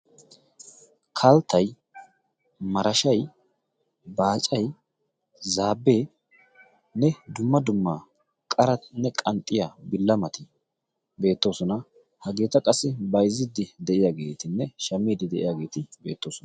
kalttay marashai baacay zaabbeenne dumma dummaa qaranne qanxxiya billamati beettoosona. hageeta qassi bayzziddi de'iyaageetinne shamiiddi de'iyaageeti beettoosona.